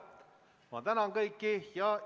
Ma tänan kõiki!